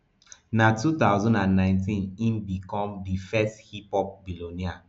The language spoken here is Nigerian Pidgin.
na two thousand and nineteen im become di first hiphop billionaire